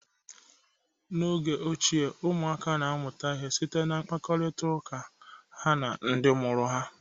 N'oge ochie, ụmụaka na-amụta ihe site na mkparitaụka ha na ndị mụrụ ha.